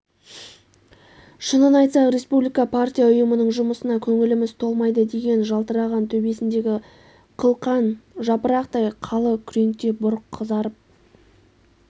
шынын айтсақ республика партия ұйымының жұмысына көңіліміз толмайды деген жалтыраған төбесіндегі қылқан жапырақтай қалы күреңте бұрқ қызарып